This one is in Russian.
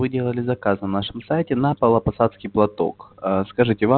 вы делали заказ на нашем сайте на павлопосадский платок скажите вам